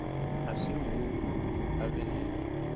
a semmupo a be le